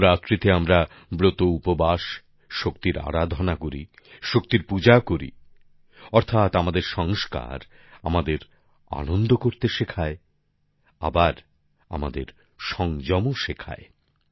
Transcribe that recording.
নবরাত্রিতে আমরা ব্রতউপবাস শক্তির আরাধনা করি শক্তির পূজা করি অর্থাৎ আমাদের সংস্কার আমাদের আনন্দ করতে শেখায় আবার নিয়ন্ত্রণ করতেও শেখায়